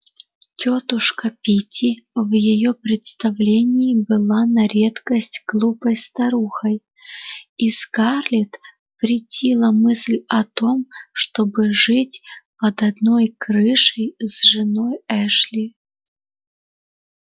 тётушка питти в её представлении была на редкость глупой старухой и скарлетт претила мысль о том чтобы жить под одной крышей с женой эшли